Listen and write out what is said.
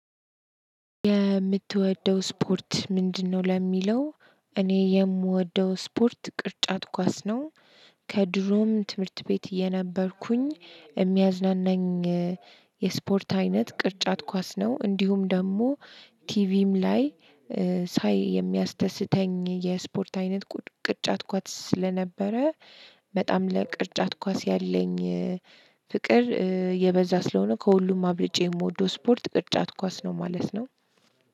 የምትወደው ስፖርት ምንድነው? ለሚለው እኔ የምወደው ስፖርት ቅርጫት ኳስ ነው። ከድሮም ትምህርት ቤት የነበርኩኝ የሚያዝናናኝ። የስፖርት አይነት ቅርጫት ኳስ ነው እንዲሁም ደግሞ። ቲቪም ላይ ሳይ የሚያስደስተኝ የስፖርት አይነት ቅርጫት ኳስ ስለነበረ። በጣም ለቅርጫት ኳስ ያለኝ ፍቅር የበዛ ስለሆነ ከሁሉም አብልጬ የምወደው ስፖርት ቅጣት ኳስ ነው ማለት ነው።